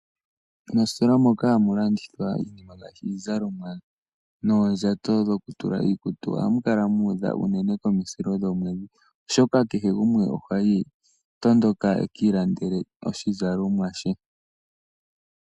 Moostola moka hamu landithwa iinima ngaashi iizalomwa noondjato dhoku tula iikutu ohamu kala muudha unene komahulilo gomweedhi oshoka kehe gumwe oha tondoka eki ilandele oshizalomwa she.